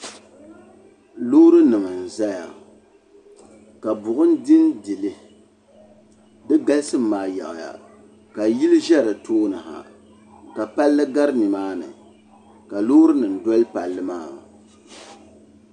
loorinima n-ʒeya ka bu' bili din dili di galisim maa yaɣi ya ka yili ʒe di tooni ha ka palli gari ni maa ni ka loorinima doli palli maa.